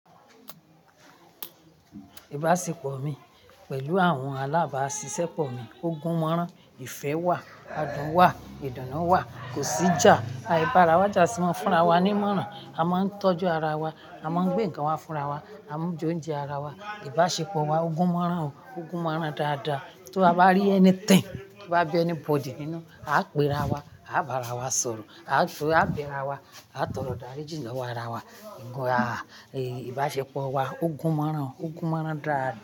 Ìbáṣepọ̀ mi pẹ̀lú àwọn alábàáṣiṣẹ́ pọ̀ mi ogún máràn. Ìfẹ́ wà, adùn wà, ìdùnnú wà, kò sí ìjà. Àìbárawaja a si maa n fúnra wa ní máràn. A máa ń tọ́jú ara wa, a máa ń gbé nǹkan wa fúnra wa, a máa ń jóúnjẹ ara wa. Ìbáṣepọ̀ wa ogún máràn o, ogún máràn dáadáa. Tí ó bá rí anything, kí ó bá bí anybody nínú, á pe ara wa, á bá ara wa sọ̀rọ̀, á pe ara wa, á tọrọ idarijí lọ̀wo ara wa. Ìbáṣepọ̀ wa ogún máràn o, ogún máràn dáadáa.